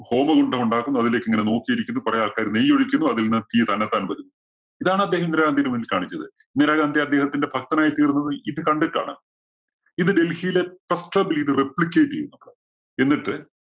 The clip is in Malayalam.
ഹോമകുണ്ഡം ഉണ്ടാക്കുന്നു. അതിലേക്ക് ഇങ്ങനെ നോക്കിയിരിക്കുന്നു കുറെ ആൾക്കാര് നെയ്യ് ഒഴിക്കുന്നു. അതിൽ നിന്ന് തീ തന്നത്താന്‍ വരുന്നു. ഇതാണ് അദ്ദേഹം ഇന്ദിരാഗാന്ധിയുടെ മുന്നിൽ കാണിച്ചത്. ഇന്ദിരാഗാന്ധി അദ്ദേഹത്തിന്റെ ഭക്തനായി തീർന്നത് ഇത് കണ്ടിട്ടാണ്. ഇത് ഡൽഹിയിലെ replicate എന്നിട്ട്